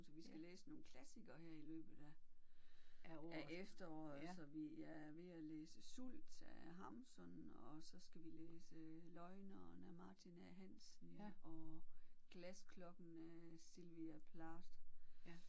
Så vi skal læse nogle klassikere her i løbet af af efteråret så vi jeg er ved at læse Sult af Hamsun og så skal vi læse Løgneren af Martin A Hansen og Glasklokken af Sylvia Plath